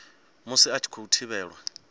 musi a tshi khou thivhelwa